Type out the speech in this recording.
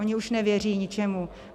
Oni už nevěří ničemu.